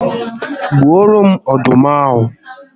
Gbuoro m ọdụm ahụ